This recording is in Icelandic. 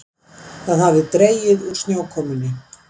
Það hafði dregið úr snjókomunni.